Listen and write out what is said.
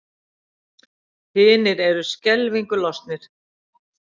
Hinir eru skelfingu lostnir.